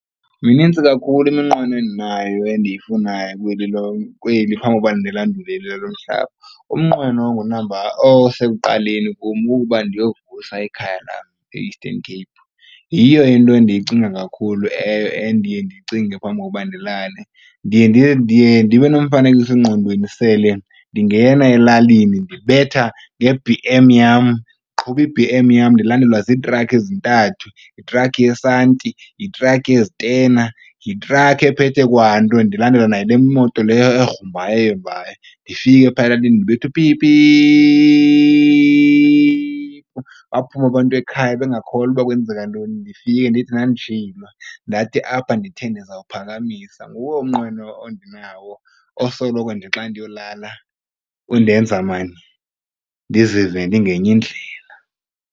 Minintsi kakhulu iminqweno endinayo endiyifunayo kweli phambi koba ndilandulele elalo mhlaba. Umnqweno ongunamba osekuqaleni kum kukuba ndiyovusa ikhaya lam e-Eastern Cape. Yiyo into endiyicinga kakhulu eyo endiye ndicinge phambi kokuba ndilale. Ndiye ndibe nomfanekiso-ngqondweni sele ndingena elalini ndibetha nge-B_M yam ndiqhuba i-B_M yam ndilandelwa ziitrakhi ezintathu, yithrakhi yesanti, yithrakhi yezitena, yithrakhi ephethe kwanto. Ndilandelwa nayile moto le egrumbayo eyombayo. Ndifike phaa elalini ndibetha upipiphu, baphume abantu ekhaya bengakholwa uba kwenzeka ntoni. Ndifike ndithi ndanditshilo ndathi apha ndithe ndizawuphakamisa. Nguwo umnqweno ondinawo osoloko nje xa ndiyolala undenza maan ndizive ndingenye indlela.